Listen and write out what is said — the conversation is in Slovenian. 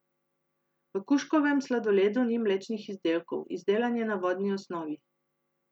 V kužkovem sladoledu ni mlečnih izdelkov, izdelan je na vodni osnovi.